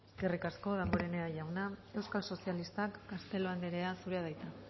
eskerrik asko damborenea jauna euskal sozialistak castelo andrea zurea da hitza